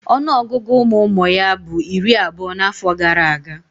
Ọnụọgụgụ ụmụụmụ ya bu iri abuo n'afo gara aga.